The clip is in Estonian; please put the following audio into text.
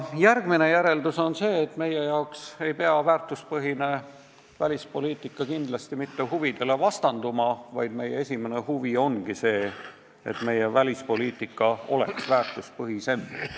Järgmine järeldus on see, et meie jaoks ei pea väärtuspõhine välispoliitika kindlasti mitte huvidele vastanduma, vaid meie esimene huvi ongi see, et meie välispoliitika oleks väärtuspõhisem.